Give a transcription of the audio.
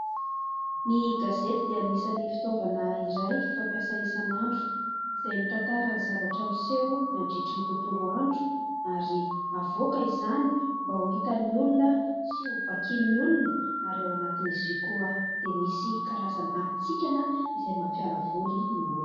Ny gazety dia anisany fitaovana iray fampiasa isan'andro izay mitantara ny zavatra miseho nandritry ny tontolo andro ary havoaka izany mba ho hitan'ny olona sy ho vakian'ny olona ary ao anatin'izy io koa dia misy karazana hatsikana izay mampialavoly ny olona.